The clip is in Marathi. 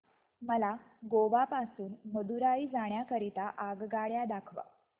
मला गोवा पासून मदुरई जाण्या करीता आगगाड्या दाखवा